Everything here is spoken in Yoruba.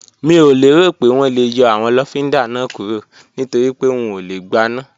Mi ò lérò pé wọ́n lè yọ àwọn lọ́fíndà náà kúrò nítorípé wọn ò lè gbaná